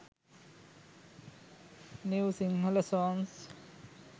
new sinhala songs